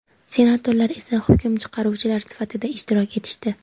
senatorlar esa hukm chiqaruvchilar sifatida ishtirok etishdi.